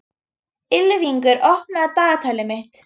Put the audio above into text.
Ylfingur, opnaðu dagatalið mitt.